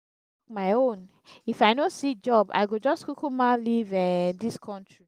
my own. if i no see job i go just kukuma leave um dis country